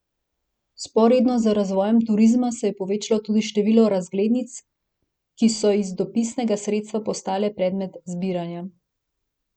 Vzporedno z razvojem turizma se je povečevalo tudi število razglednic, ki so iz dopisnega sredstva postale predmet zbiranja.